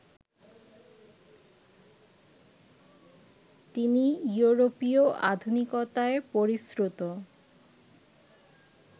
তিনি ইয়োরোপীয় আধুনিকতায় পরিশ্রুত